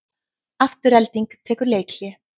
Afturelding tekur leikhlé